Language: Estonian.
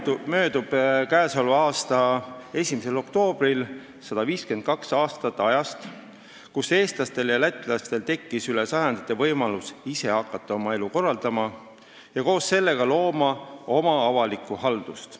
Seega möödub k.a 1. oktoobril 152 aastat ajast, mil eestlastel ja lätlastel tekkis üle sajandite võimalus hakata ise oma elu korraldama ja koos sellega looma oma avalikku haldust.